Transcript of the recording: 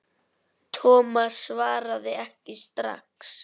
Thomas svaraði ekki strax.